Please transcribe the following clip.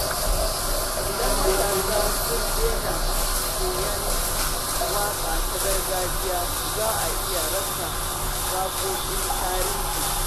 Idan matasa sun daina koyon waƙa ta gargajiya, za a iya rasa waƙoƙin tarihi.